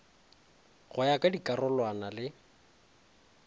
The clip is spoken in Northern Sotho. go ya ka dikarolwana le